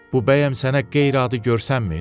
Bu bəyəm sənə qeyri-adi görünmür?